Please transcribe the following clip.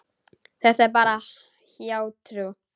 Þetta er bara hjátrú.